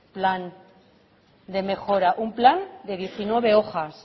plan de mejora un plan de diecinueve hojas